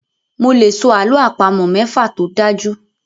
Mo lè sọ àlọ́ àpamọ̀ mẹ́fa tó dájú.